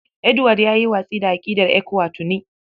Edward ya yi watsi da aƙidar ECWA tuni.